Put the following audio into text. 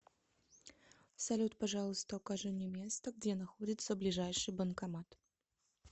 салют пожалуйста укажи мне место где находится ближайший банкомат